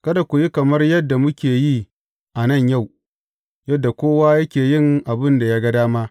Kada ku yi kamar yadda muke yi a nan yau, yadda kowa yake yin abin da ya ga dama.